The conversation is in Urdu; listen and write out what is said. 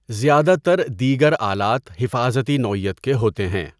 زیادہ تر دیگر آلات حفاظتی نوعیت کے ہوتے ہیں۔